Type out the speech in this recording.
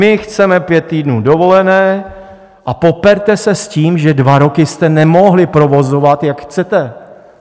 My chceme pět týdnů dovolené a poperte se s tím, že dva roky jste nemohli provozovat, jak chcete.